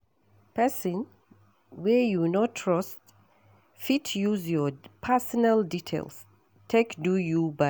Person wey you no trust fit use your personal details take do you bad